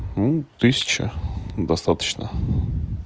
ну тысяча достаточно